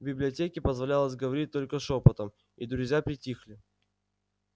в библиотеке позволялось говорить только шёпотом и друзья притихли